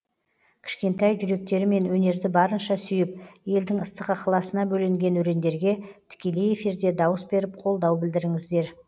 кішкентай жүректерімен өнерді барынша сүйіп елдің ыстық ықыласына бөленген өрендерге тікелей эфирде дауыс беріп қолдау білдіріңіздер